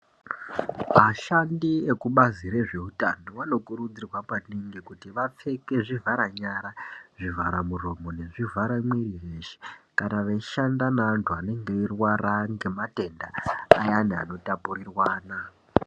Vashandi ekubazi rezveutano vanokurudzirwa maningi kuti vapfeke zvivhara nyara nezvivhara muromo nezvivhara mwiri weshe kana veishanda neantu vanenge veirwara ngematenda ayani anotapurirwana.